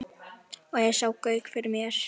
Og ég sá Gauk fyrir mér.